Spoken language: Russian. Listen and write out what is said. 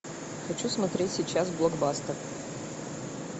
хочу смотреть сейчас блокбастер